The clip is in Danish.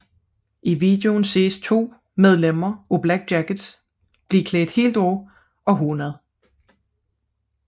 I videoen ses to medlemmer af Black Jackets blive klædt helt af og hånet